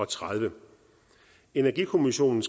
tredive energikommissionen